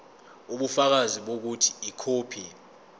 ubufakazi bokuthi ikhophi